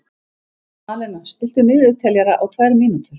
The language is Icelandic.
Malena, stilltu niðurteljara á tvær mínútur.